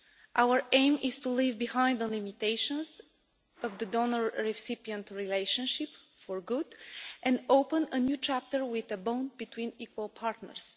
Our aim is to leave behind the limitations of the donor recipient relationship for good, and to open a new chapter with a bond between equal partners.